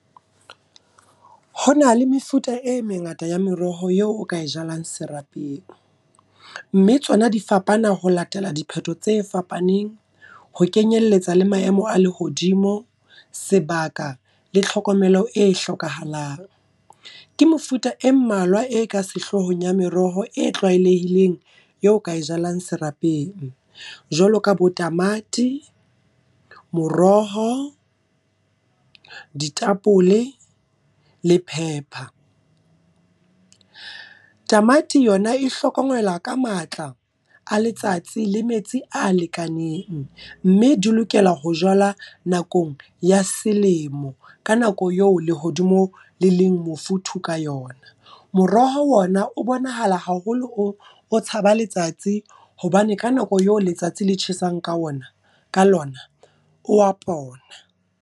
Ho na le mefuta e mengata ya meroho yeo o ka e jalang serapeng. Mme tsona di fapana ho latela dipheto tse fapaneng. Ho kenyelletsa le maemo a lehodimo, sebaka, le tlhokomelo e hlokahalang. Ke mefuta e mmalwa e ka sehloohong ya meroho e tlwaelehileng, eo o ka e jalang serapeng. Jwalo ka bo tamati, moroho, ditapole le pepper. Tamati yona e hlokomelwa ka matla a letsatsi le metsi a lekaneng. Mme di lokela ho jwalwa nakong ya selemo, ka nako eo lehodimo le leng mofuthu ka yona. Moroho ona o bonahala haholo o tshaba letsatsi, hobane ka nako eo letsatsi le tjhesang ka ona ka lona, o wa pona.